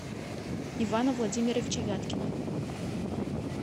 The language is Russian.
ивана владимировича вяткина